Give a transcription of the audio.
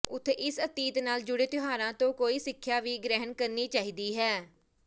ਉਥੇ ਇਸ ਅਤੀਤ ਨਾਲ ਜੂੜੇ ਤਿਉਹਾਰਾਂ ਤੋਂ ਕੋਈ ਸਿੱਖਿਆ ਵੀ ਗ੍ਰਹਿਣ ਕਰਨੀ ਚਾਹੀਦੀ ਹੈ